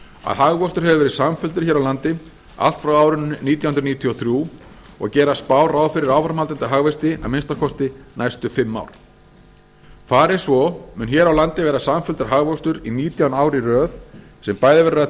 að hagvöxtur hefur verið samfelldur hér á landi allt frá árinu nítján hundruð níutíu og þrjú og gera spár ráð fyrir áframhaldandi hagvexti að minnsta kosti næstu fimm ár fari svo mun hér á landi ver a samfelldur hagvöxtur í nítján ár í röð sem bæði verður að